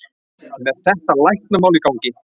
Með þetta læknamál í gangi.